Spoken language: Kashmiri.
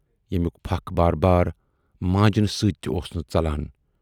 ییٚمِیُک فکھ بار بار مانجنہٕ سۭتۍ تہِ اوس نہٕ ژلان۔